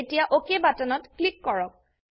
এতিয়া অক বাটনত ক্লিক কৰক